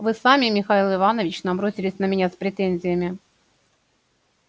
вы сами михаил иванович набросились на меня с претензиями